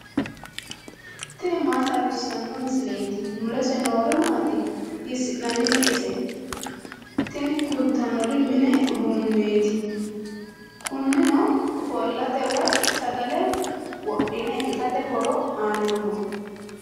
tini maa xawissanno misileeti ? mulese noori maati ? hiissinannite ise ? tini kultannori mini uduunneeti. kunino ofollate woy sagale wodhine itate horo aannoho.